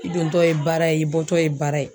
I dontɔ ye baara ye i bɔtɔ ye baara ye